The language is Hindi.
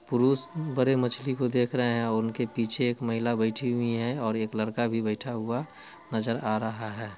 पुरुस बरे मछली को देख रहे हैं और उनके पीछे एक महिला बैठी हुई हैं और एक लड़का भी बैठा हुआ नजर आ रहा है।